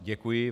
Děkuji.